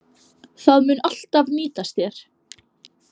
Það mun alltaf nýtast þér.